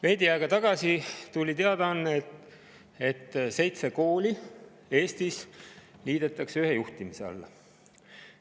Veidi aega tagasi tuli teadaanne, et seitse kooli Eestis liidetakse ühe juhtimise alla.